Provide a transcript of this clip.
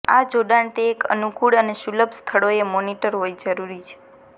આ જોડાણ તે એક અનુકૂળ અને સુલભ સ્થળોએ મોનીટર હોય જરૂરી છે